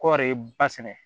Kɔɔri ba sɛnɛ